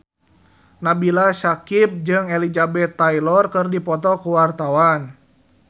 Nabila Syakieb jeung Elizabeth Taylor keur dipoto ku wartawan